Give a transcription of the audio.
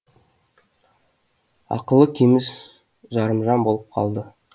ақылы кеміс жарымжан болып қалды